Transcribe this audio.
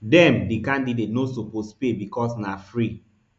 dem [di candidates] no suppose pay becos na free